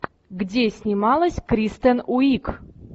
где снималась кристен уик